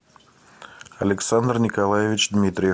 александр николаевич дмитриев